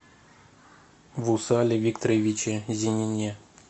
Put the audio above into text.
вусале викторовиче зенине